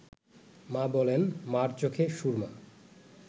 মা বলেন, মা’র চোখে সুর্মা